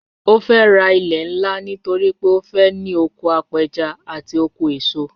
Ó fẹ́ ra ilẹ̀ ńlá nítorí pé ó fẹ́ ní oko apẹja àti oko eso